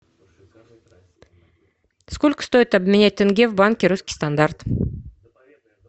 сколько стоит обменять тенге в банке русский стандарт